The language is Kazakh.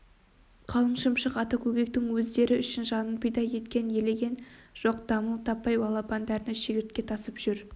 қалың шымшық ата көкектің өздері үшін жанын пида еткенін елеген жоқ дамыл таппай балапандарына шегіртке тасып жүр